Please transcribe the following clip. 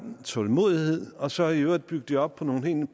tålmodighed og så i øvrigt bygge det op på nogle